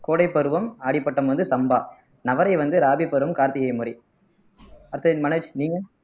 கோடை பருவம் அடிப்பட்டம் வந்து சம்பா நவரை வந்து ராபிபுரம் கார்த்திகை முறை அடுத்தது மனோஜ் நீங்க